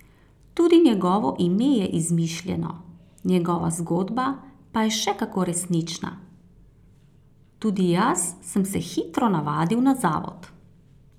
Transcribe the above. Tudi njegovo ime je izmišljeno, njegova zgodba pa je še kako resnična: 'Tudi jaz sem se hitro navadil na zavod.